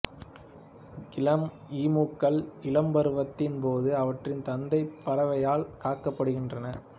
இளம் ஈமுக்கள் இளம்பருவத்தின் போது அவற்றின் தந்தைப் பறவையால் காக்கப்படுகின்றன